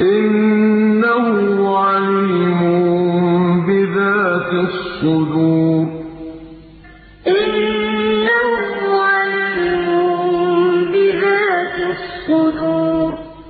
إِنَّهُ عَلِيمٌ بِذَاتِ الصُّدُورِ إِذْ يُرِيكَهُمُ اللَّهُ فِي مَنَامِكَ قَلِيلًا ۖ وَلَوْ أَرَاكَهُمْ كَثِيرًا لَّفَشِلْتُمْ وَلَتَنَازَعْتُمْ فِي الْأَمْرِ وَلَٰكِنَّ اللَّهَ سَلَّمَ ۗ إِنَّهُ عَلِيمٌ بِذَاتِ الصُّدُورِ